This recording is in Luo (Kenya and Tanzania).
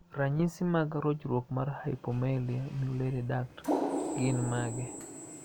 Ranyisi mag rochruok mar Hypomelia mullerian duct gin mage?